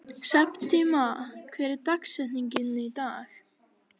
Septíma, hver er dagsetningin í dag?